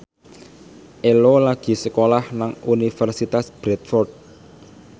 Ello lagi sekolah nang Universitas Bradford